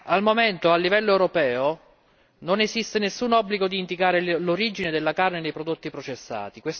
Al momento, a livello europeo non esiste nessun obbligo di indicare l'origine della carne nei prodotti processati.